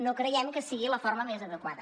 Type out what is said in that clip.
no creiem que sigui la forma més adequada